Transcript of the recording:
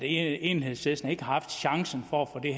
enhedslisten ikke har haft chancen for at få det